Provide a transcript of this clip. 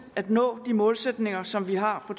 at nå de målsætninger som vi har for